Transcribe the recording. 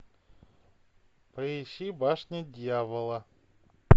поищи башня дьявола